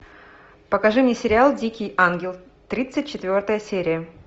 покажи мне сериал дикий ангел тридцать четвертая серия